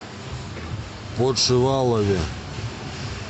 подшивалове